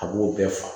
A b'o bɛɛ faga